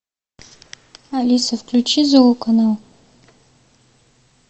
алиса включи зооканал